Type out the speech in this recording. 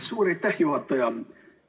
Suur aitäh, juhataja!